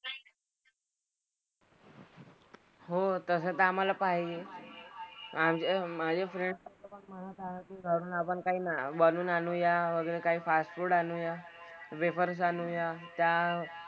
हो तसं तर आम्हाला पाहिजे. आणि माझे फ्रेंड्स की घरून आपण काही ना बनवून आणूया वगैरे काय फास्टफूडआणूया. वेफर्स आणूया. त्या,